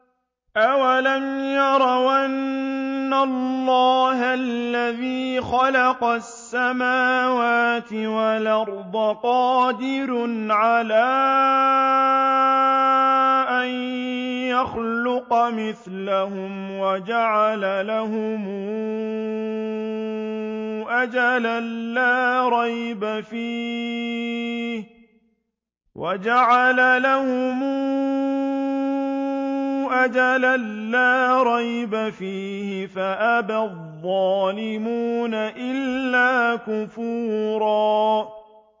۞ أَوَلَمْ يَرَوْا أَنَّ اللَّهَ الَّذِي خَلَقَ السَّمَاوَاتِ وَالْأَرْضَ قَادِرٌ عَلَىٰ أَن يَخْلُقَ مِثْلَهُمْ وَجَعَلَ لَهُمْ أَجَلًا لَّا رَيْبَ فِيهِ فَأَبَى الظَّالِمُونَ إِلَّا كُفُورًا